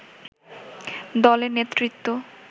দলের নেতৃত্ব